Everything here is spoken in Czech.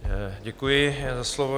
Děkuji za slovo.